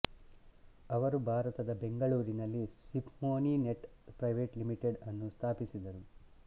ಅವರು ಭಾರತದ ಬೆಂಗಳೂರಿನಲ್ಲಿ ಸಿಮ್ಫೋನಿ ನೆಟ್ ಪ್ರೈವೆಟ್ ಲಿಮಿಟೆಡ್ ಅನ್ನು ಸ್ಥಾಪಿಸಿದರು